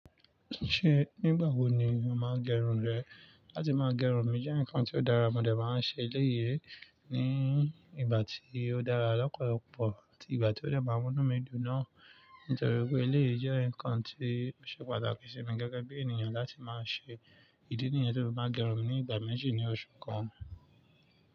Ṣé nígbà wo ni o máa ń gẹrun rẹ? Látí máa gẹrun mí jẹ́ ǹkan tí ó dára, mọ dé máa ń ṣe elé yii ní ìgbà tí ó dára lọ́pọ̀lọpọ̀ àti ìgbà tí ó de maa múnú mí dùn náà. Nítorí pé elé yii je ǹkan tí ó ṣe pàtàkì sí mi gẹ́gẹ́ bí ènìyàn láti máa ṣe ìdí nìyẹn tí mo fi maa gẹrun mi ní ìgbà méjì ní oṣù kan.